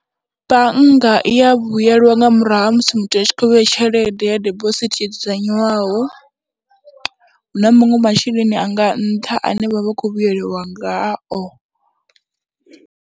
Bannga i ya vhuyelwa nga murahu ha musi muthu a tshi khou vheya tshelede ya dibosithi yo dzudzanyiwaho, hu na muṅwe masheleni a nga nṱha ane vha vha khou vhuyeliwa ngao.